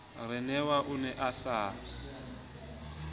ronewa o ne a sa